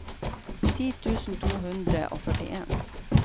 ti tusen to hundre og førtien